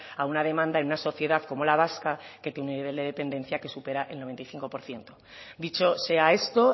a una demanda en una sociedad como la vasca que tiene el nivel de dependencia que supera el noventa y cinco por ciento dicho sea esto